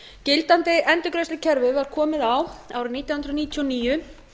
gildandi endurgreiðslukerfi var komið á árið nítján hundruð níutíu og níu